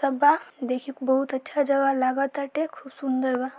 सब बा देखे में बहुत अच्छा जगह लगा ताटे खूब सुंदर बा।